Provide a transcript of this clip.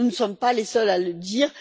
Nous ne sommes pas les seuls à le dire.